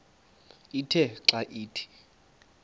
ithe xa ithi